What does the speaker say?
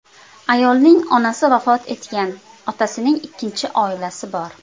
Ayolning onasi vafot etgan, otasining ikkinchi oilasi bor.